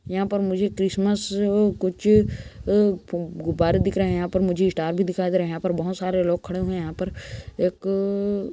यहाँ पर मुझे क्रिसमस कुछ अ गुब्बारे दिख रहे है यहाँ पर मुझे स्टार भी दिखाई दे रहे है यहाँ पर बहुत सारे लोग खड़े हुए है यहाँ पर एक अ --